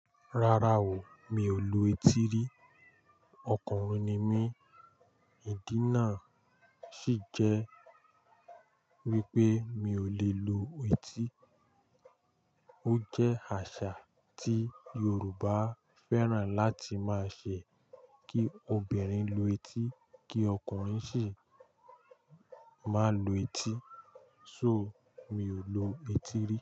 Rárá o, mi ò lu etí rí o. Okùnrin ni mí, ìdí náà sì jẹ́ wípé mi ò lè lu etí. Ó jẹ́ àṣà tí Yorùbá fẹ́ràn láti máa ṣe kí obìnrin lu etí kí ọkùnrin sì má lu etí, so mi ò lu etí rí.